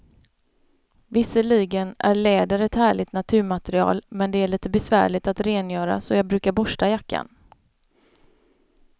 Visserligen är läder ett härligt naturmaterial, men det är lite besvärligt att rengöra, så jag brukar borsta jackan.